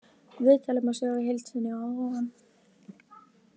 Viðtalið má sjá í heild sinni að ofan.